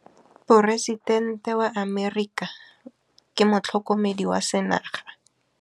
Poresitêntê wa Amerika o sireletswa ke motlhokomedi wa sengaga.